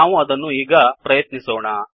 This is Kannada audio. ನಾವು ಅದನ್ನು ಈಗ ಪ್ರಯತ್ನಿಸೋಣ